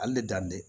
Hali ne dan tɛ